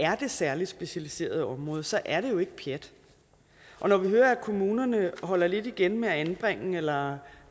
det særlig specialiserede område så er det jo ikke pjat og når vi hører at kommunerne holder lidt igen med at anbringe eller